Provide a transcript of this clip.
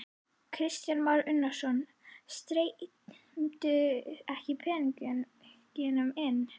Kristján Már Unnarsson: Streymdu ekki peningarnir inn?